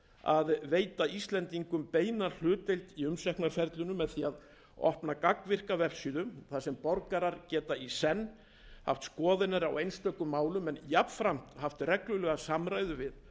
að veita íslendingum beina hlutdeild í umsóknarferlinu með því að opna gagnvirka vefsíðu þar sem borgarar geta í senn haft skoðanir á einstökum málum en jafnframt haft reglulega samræðu